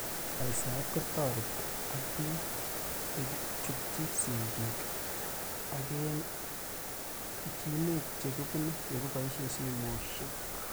Saisaet kotareti ak pik ye chutchi sig'ik ak emet eng' pichiinwek che kipune ye kipoishe simoshek